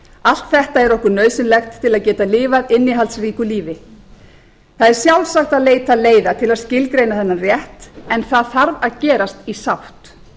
allt þetta er okkur nauðsynlegt til að geta lifað innihaldsríku lífi það er sjálfsagt að leita leiða til að skilgreina þennan rétt en það þarf að gerast í sátt